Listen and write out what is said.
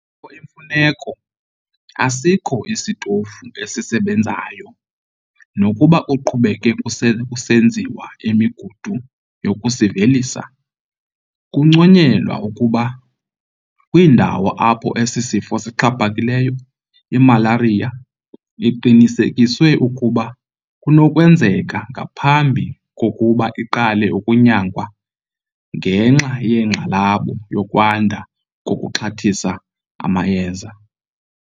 Nakuba kukho imfuneko, asikho isitofu esisebenzayo, nakuba kuqhubeka kusenziwa imigudu yokusivelisa. Kunconyelwa ukuba kwiindawo apho esi sifo sixhaphakileyo, imalariya iqinisekiswe ukuba kunokwenzeka ngaphambi kokuba iqale ukunyangwa ngenxa yenkxalabo yokwanda kokuxhathisa amayeza.